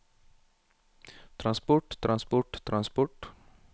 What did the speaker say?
transport transport transport